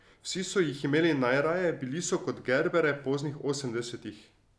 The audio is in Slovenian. Vsi so jih imeli najraje, bili so kot gerbere poznih osemdesetih.